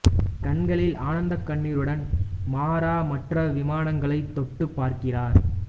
கண்களில் ஆனந்தக் கண்ணீருடன் மாரா மற்ற விமானங்களைத் தொட்டுப் பார்க்கிறார்